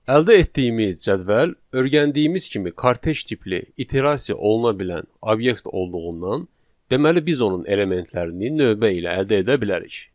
Əldə etdiyimiz cədvəl öyrəndiyimiz kimi kortej tipli, iterasiya oluna bilən obyekt olduğundan, deməli biz onun elementlərini növbə ilə əldə edə bilərik.